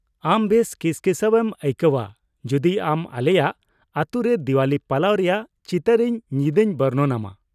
ᱟᱢ ᱵᱮᱥ ᱠᱤᱥᱠᱤᱥᱟᱹᱣ ᱮᱢ ᱟᱹᱭᱠᱟᱹᱣᱼᱟ ᱡᱩᱫᱤ ᱟᱢ ᱟᱞᱮᱭᱟᱜ ᱟᱹᱛᱩ ᱨᱮ ᱫᱤᱣᱟᱞᱤ ᱯᱟᱞᱟᱣ ᱨᱮᱭᱟᱜ ᱪᱤᱛᱟᱹᱨ ᱤᱧ ᱧᱤᱫᱟᱹᱧ ᱵᱚᱨᱱᱚᱱᱼᱟᱢᱟ ᱾